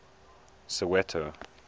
soweto